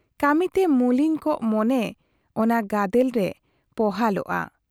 ᱠᱟᱹᱢᱤ ᱛᱮ ᱢᱩᱞᱤᱱ ᱠᱚᱜ ᱢᱚᱱᱮ ᱚᱱᱟ ᱜᱟᱫᱮᱞ ᱨᱮ ᱯᱚᱦᱟᱞᱚᱜᱼᱟ ᱾